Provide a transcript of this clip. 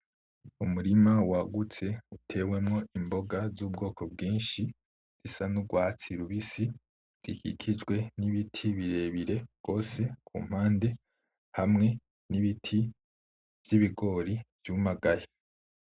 Umurima wagutse utewemwo imboga z'ubwoko bwinshi zisa n'urwatsi rubisi, zikikijwe n´ibiti birebire gose ku mpande, hamwe n'ibiti vy´ibigori vyumagaye.